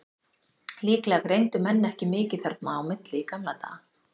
Líklega greindu menn ekki mikið þarna á milli í gamla daga.